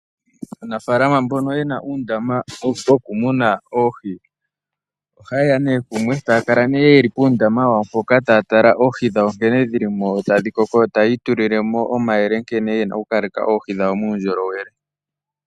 Aanafaalama mbono yena uundama wokumuna oohi ohaye ya nee kumwe taya kala nee yeli puundama wawo mpoka taa tala oohi dhawo nkene dhi li mo tadhi koko, yo taya itulile mo omayele nkene ye na okukaleka oohi dhawo muundjolowele.